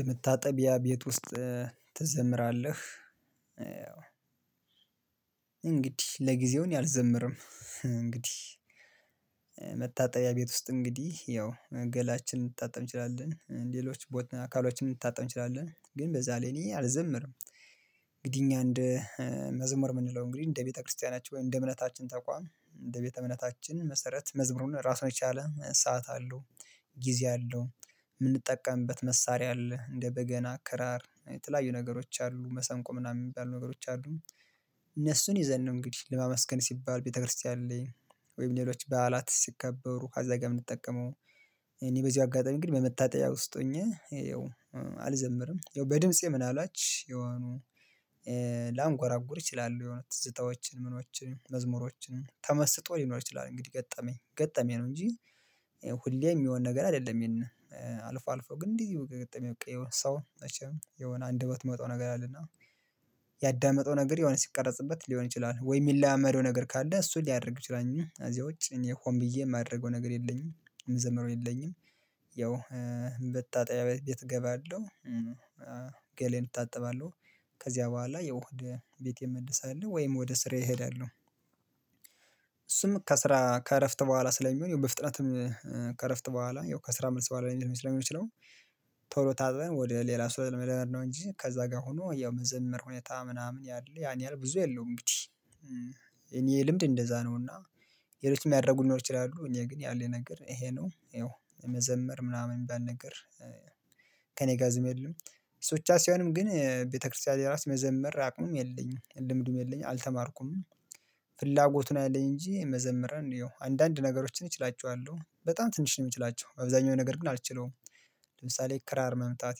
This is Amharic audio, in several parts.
የመታጠቢያ ቤት ውስጥ ትዘምራለህ? እንግዲህ ለጊዜው እኔ አልዘምርም። እንግዲህ መታጠቢያ ቤት ውስጥ እንግዲህ ያው እገላላችንን እልንታጠብ እንችላለን ሌሎች ቦታ አካሎችን ልንታጠብ እንችላለን ግን በዛ ላይ እኔ አልዘምርም። እንግዲህ እኛ እንደ መዘመር የምንለው እንግዲህ እንደ ቤተክርስቲያናችን ወይም እንደ እምነታችን ተቋም እንደ ቤተ እምነታችን መሰረት መዝሙር ራሱን የቻለ ሰዓት አለው። ጊዜ አለው የምንጠቀምበት መሳሪያ አለ እንደ በገና አከራር የተለያዩ ነገሮች አሉ መሰንቆ ምናምን የሚባሉ ነገሮች አሉ። እነሱን ይዘን ነው እንግዲህ ለማመስገን ሲባል ቤተክርስቲያን ላይ ወይም ሌሎች በዓላት ሲከበሩ ካዛ ጋር የምንጠቀመው። እኔ በዚህ አጋጣሚ ግን በመታጠያ ውስጥ ሆኜ አልዘምርም። ያው በድምፄ ምን አልባች የሆኑ ላንጎራጉር እችላለሁ የሆነ ትዝታዎችን ምኖችን መዝሙሮችን ተመስጦ ሊኖር ይችላል። እንግዲህ ገጠመኝ ገጠመኝ ነው እንጂ። የሚሆን ነገር አይደለም። ይሄን አልፎ አልፎ ግን እንዲህ ገጠሜ በቃ የሆነ ሰው መቼም የሆነ አንድ ቦት መጥቶ ነገር አለና። ያዳመጠው ነገር የሆነ ሲቀረጽበት ሊሆን ይችላል ወይ የሚለማመደው ነገር ካለ እሱን ሊያደርግ ይችላል እንጂ ከዚያ ውጭ እኔ ሆን ብዬ የማደርገው ነገር የለኝም የምዘምረው የለኝም። ያው መታጠቢያ ቤት እገባለሁ። እታጠባለሁ። ከዚያ በኋላ የውህድ ቤቴንእ መልስ አለሁ ወይም ወደ ስራዬ እሄዳለሁ። እሱም ከስራ ከእረፍት በኋላ ስለሚሆን ይሄው በፍጥነትም ከእረፍት በኋላ ይሄው ከስራ መልስ በኋላ ላይመስለኝ ስለሚሆን ነው። ቶሎ ታጥበን ወደ ሌላ ስለመደመር ነው እንጂ ከዛ ጋር ሆኖ ያው መዘምር ሁኔታ ምናምን ያለ ያን ያህል ብዙ የለውም። እንግዲህ ልምድ እንደዛ ነውና። የሌሎችም ያደረጉ ልኖር ይችላሉ እኔ ግን ያለኝ ነገር ይሄ ነው። ይኸው መዘመር ምናምን የሚባል ነገር። ጋዝም የለም እሱ ብቻ ሳይሆንም ግን ቤተክርስቲያን የራሱ መዘመር አቅሙም የለኝም ልምዱም የለኝም አልተማርኩም። ፍላጎቱን አለኝ እንጂ መዘምርን እንየው አንዳንድ ነገሮችን እችላቸዋለሁ በጣም ትንሽ ነው የምችላቸው አብዛኛው ነገር ግን አልችለውም። ለምሳሌ ክራር መምታት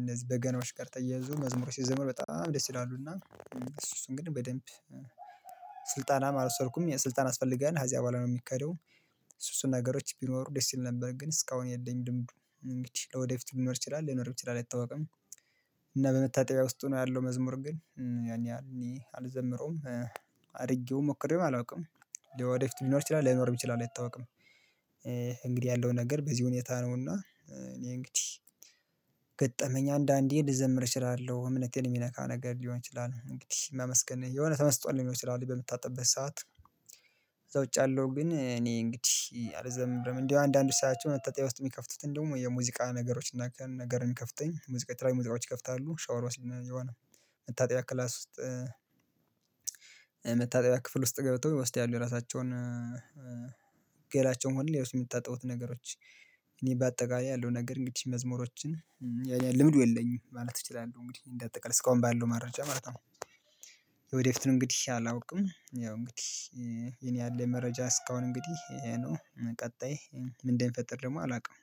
እነዚህ በገናዎች ጋር ተያይዞ መዝሙሩ ሲዘመር በጣም ደስ ይላሉና። እሱ እሱን እንግዱህ በደንብ ስልጠናም አልወሰድኩም ስልጣን ያስፈልጋል አዚያ በኋላ ነው የሚካሄደው። እሱ እሱን ነገሮች ቢኖሩ ደስ ይል ነበር ግን እስካሁን የለኝ ልምዱ እንግዲህ ለወደፊት ሊኖር ይችላል ላይኖር ይችላል አይታወቅም። እና በመታጠቢያ ውስጥ ነው ያለው መዝሙር ግን ያኔ አልዘምረውም። አድርጌው ሞክሬውም አላውቅም። ወደፊት ሊኖር ይችላል ላይኖርም ይችላል አይታወቅም። እንግዲህ ያለው ነገር በዚህ ሁኔታ ነውና። እኔ እንግዲህ ገጠመኛ አንዳንዴ ልዘምር እችላለሁ እምነቴን የሚነካ ነገር ሊሆን ይችላል እንግዲህ መመስገን የሆነ ተመስጦ ሊሆን ይችላል በምታጠብበት ሰዓት። ከዛ ውጭ አለው ግን እኔ እንግዲህ አልዘምርም። እንደው አንዳንድ ሳያቸው መታጠብያ ውስጥ የሚከፍቱትን ደግሞ የሙዚቃ ነገሮችን ነገር የሚከፍቱኝ ሙዚቃ የተለያዩ ሙዚቃዎች ይከፍታሉ ሻወር ወስድን የሆነ መታጠብያ ክላስ ውስጥ። መታጠብያ ክፍል ውስጥ ገብተው ውስጥ ያሉ የራሳቸውን ገላቸውን መሆን የሚታጠቡት ነገሮች። እኔ በአጠቃላይ ያለው ነገር እንግዲህ መዝሙሮችን ልምዱ የለኝም ማለት እችላለሁ እንግዲህ እንደ አጠቃላይ እስካሁን ባለው መረጃ ማለት ነው። ለወደፊት እንግዲህ አላውቅም ያው እንግዲህ እኔ ያለኝ መረጃ እስካሁን እንግዲህ ይሄ ነው ቀጣይ ምን እንደሚፈጥር ደግሞ አላውቅም